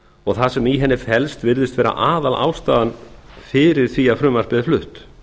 og það sem í henni felst virðist vera aðalástæðan fyrir því að frumvarpið er flutt